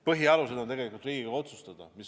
Põhialused on tegelikult Riigikogu otsustada.